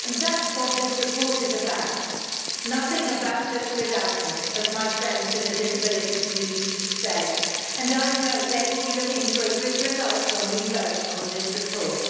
And that's what this report is about Nothing about us without us', as my friends in the disability community say, and I know they will be looking for a good result when we vote on this report.